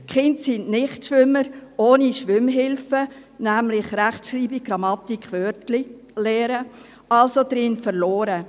Die Kinder sind Nichtschwimmer ohne Schwimmhilfen, nämlich Rechtschreibung, Grammatik, Wörtlein lernen, also darin verloren.